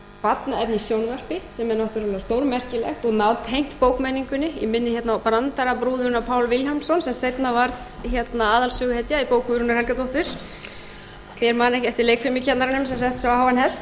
í sjónvarpi sem er náttúrlega stórmerkilegt og nátengt bókmenningunni ég minni hérna á brandarabrúðuna pál vilhjálmsson sem seinna varð aðalsöguhetja í bók guðrúnar helgadóttur hver man ekki eftir leikfimikennaranum sem setti sig á háan hest eða slagurinn allt í steik sem hún samdi